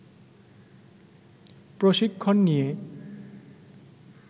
প্রশিক্ষণ নিয়ে